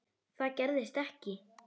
Það gerðist ekki.